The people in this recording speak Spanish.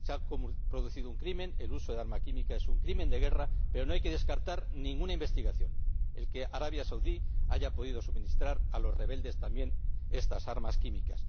Se ha producido un crimen ―el uso de armas químicas es un crimen de guerra―, pero no hay que descartar ninguna investigación el que también Arabia Saudí haya podido suministrar a los rebeldes estas armas químicas.